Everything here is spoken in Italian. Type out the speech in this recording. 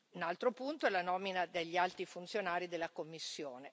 Un altro punto è la nomina degli alti funzionari della Commissione.